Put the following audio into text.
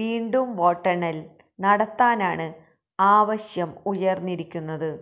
വീണ്ടും വോട്ടെണ്ണല് നടത്താനാണ് ആവശ്യം ഉയർന്നിരിക്കുന്നത്